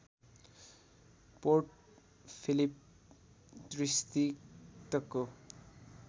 port Phillip डिस्ट्रिक्टको